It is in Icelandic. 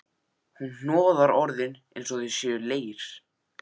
Hún hnoðar orðin einsog þau séu leir.